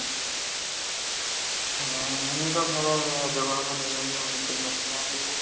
ਹਾਂ ਓਹਨੇ ਤਾਂ ਸਾਰਾ ਜਵਾਬ ਦੇਨਾ ਹੀ ਆ machine ਹੇਗੀ ਹੈ